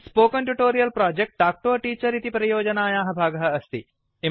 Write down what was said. spoken Tutorial project talk to a teacher इति परियोजनायाः भागः अस्ति